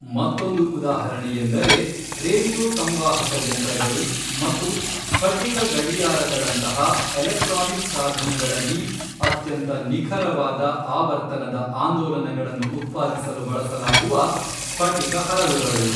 ಮತ್ತೊಂದು ಉದಾಹರಣೆಯೆಂದರೆ, ರೇಡಿಯೋ ಸಂವಾಹಕ ಯಂತ್ರಗಳು ಮತ್ತು ಸ್ಫಟಿಕ ಗಡಿಯಾರಗಳಂತಹ ಎಲೆಕ್ಟ್ರಾನಿಕ್ ಸಾಧನಗಳಲ್ಲಿ ಅತ್ಯಂತ ನಿಖರವಾದ ಆವರ್ತನದ ಆಂದೋಲನಗಳನ್ನು ಉತ್ಪಾದಿಸಲು ಬಳಸಲಾಗುವ ಸ್ಫಟಿಕ ಹರಳುಗಳು.